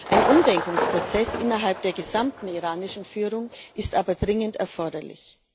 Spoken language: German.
Ein Umdenkungsprozess innerhalb der gesamten iranischen Führung ist aber dringend erforderlich.